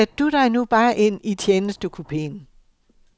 Sæt du dig nu bare ind i tjenestekupeen.